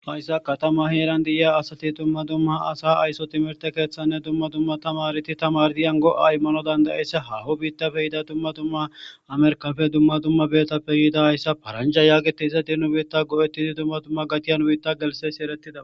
Hayssa katama heeran di7iya asati dumma dumma asa ayso timirte keeththanne dumma dumma tamariti tamardiyan go7aymmano dandayissa hahu biitta peyida dumma dumma amerkafe dumma dumma beetta peyiida hayssa paranjha yaagetiza di nu biitta go7ettidi dumma dumma gatiyan wuiitta gelsesi erettida